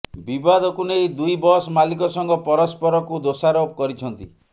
ବିବାଦକୁ ନେଇ ଦୁଇ ବସ୍ ମାଲିକ ସଂଘ ପରସ୍ପରକୁ ଦୋଷାରୋପ କରିଛନ୍ତି